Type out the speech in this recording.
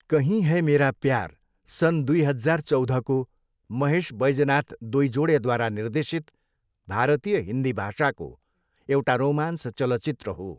कहीं है मेरा प्यार सन् दुई हजार चौधको महेश वैजनाथ डोइजोडेद्वारा निर्देशित भारतीय हिन्दी भाषाको एउटा रोमान्स चलचित्र हो।